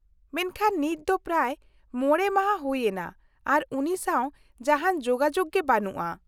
-ᱢᱮᱱᱠᱷᱟᱱ ᱱᱤᱛ ᱫᱚ ᱯᱨᱟᱭ ᱢᱚᱬᱮ ᱢᱟᱦᱟ ᱦᱩᱭ ᱮᱱᱟ ᱟᱨ ᱩᱱᱤ ᱥᱟᱶ ᱡᱟᱦᱟᱱ ᱡᱳᱜᱟᱡᱳᱜ ᱜᱮ ᱵᱟᱹᱱᱩᱜᱼᱟ ᱾